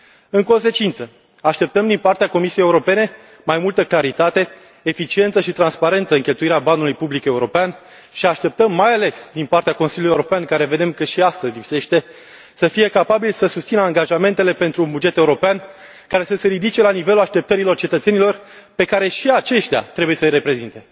În consecință, așteptăm din partea Comisiei Europene mai multă claritate, eficiență și transparență în cheltuirea banului public european și așteptăm, mai ales din partea Consiliului European, care vedem că și astăzi lipsește, să fie capabil să susțină angajamentele pentru un buget european care să se ridice la nivelul așteptărilor cetățenilor pe care trebuie să îi reprezinte.